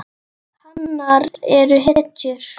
Hanar eru hetjur.